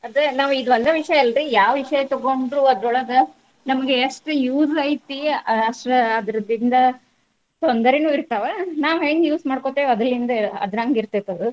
ಅದೇ ನಾವೀಗ ಅಲ್ಲೇ ವಿಷಯ ಅಲ್ರಿ ಯಾವ್ ವಿಷಯ ತಗೊಂಡ್ರು ಅದ್ರೊಳಗ ನಮ್ಗೆ ಎಷ್ಟ್ use ಐತಿ, ಅಷ್ಟ್ ಆದರದಿಂದ ತೊಂದರೇನು ಇರ್ತಾವ. ನಾವ್ ಹೆಂಗ್ use ಮಾಡ್ಕೋತೇವಿ ಅದರಲ್ಲಿಂದ ಅದರಂಗ ಇರ್ತೇತಿ ಆದ್.